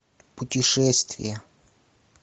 путешествия